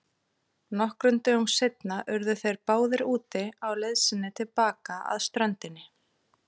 Nokkrum dögum seinna urðu þeir báðir úti á leið sinni til baka að ströndinni.